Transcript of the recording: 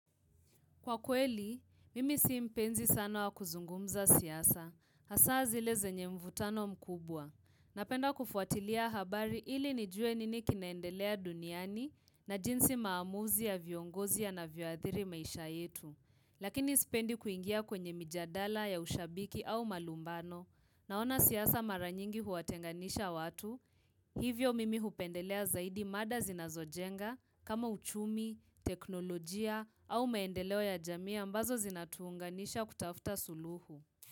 Kwa kweli, mimi si mpenzi sana wa kuzungumza siasa, hasa zileze nye mvutano mkubwa. Napenda kufuatilia habari ili nijue nini kinaendelea duniani na jinsi maamuzi ya viongozi ya na vioadhiri maisha yetu. Lakini isipendi kuingia kwenye mjadala ya ushabiki au malumbano, naona siasa mara nyingi huwatenganisha watu. Hivyo mimi hupendelea zaidi mada zinazo jenga kama uchumi, teknolojia au meendeleo ya jamii ambazo zinatuunga nisha kutafuta suluhu.